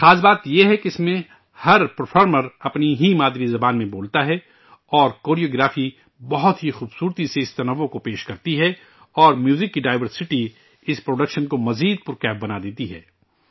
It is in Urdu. خاص بات یہ ہے کہ اس میں ہر پرفامر اپنی ہی مادری زبان میں بولتا ہے اور کوریوگرافی بہت ہی خوبصورتی سے اس تنوع کو پیش کرتی ہے اور میوزک کی ڈائیورسٹی اس پروڈکشن کو مزید زندگی عطا کردیتی ہے